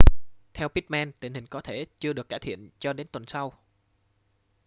theo pittman tình hình có thể chưa được cải thiện cho đến tuần sau